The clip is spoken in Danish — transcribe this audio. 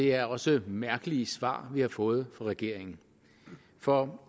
er også mærkelige svar vi har fået fra regeringen for